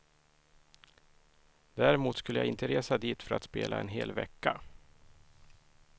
Däremot skulle jag inte resa dit för att spela en hel vecka.